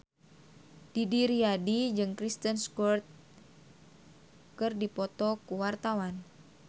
Didi Riyadi jeung Kristen Stewart keur dipoto ku wartawan